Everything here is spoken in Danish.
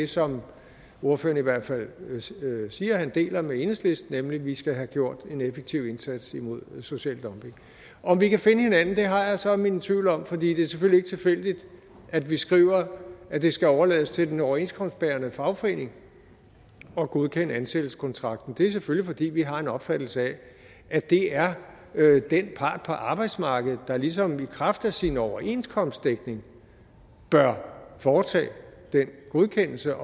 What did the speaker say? som ordføreren i hvert fald siger han deler med enhedslisten nemlig at vi skal have gjort en effektiv indsats imod social dumping om vi kan finde hinanden har jeg så mine tvivl om for det er selvfølgelig ikke tilfældigt at vi skriver at det skal overlades til den overenskomstbærende fagforening at godkende ansættelseskontrakten det er selvfølgelig fordi vi har en opfattelse af at det er den part på arbejdsmarkedet der ligesom i kraft af sin overenskomstdækning bør foretage den godkendelse